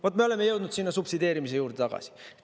Vaat, me oleme jõudnud sinna subsideerimise juurde tagasi.